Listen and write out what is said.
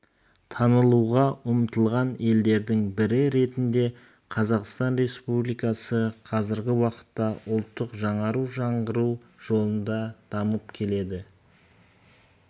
танылуға ұмтылған елдердің бірі ретінде қазақстан республикасы қазіргі уақытта ұлттық жаңару жаңғыру жолында дамып келеді